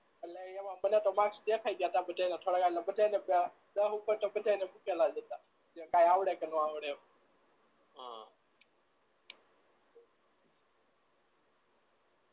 એટલે એમાં મને તો માર્કસ દેખાઈ ગયા તા બધાય ના થોડા બધાના દમ ઉપર તો મુકેલા જ હતા જે કઈ આવડે કે ના આવડે અઅ